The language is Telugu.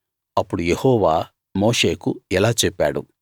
అప్పుడు యెహోవా మోషేకు ఇలా చెప్పాడు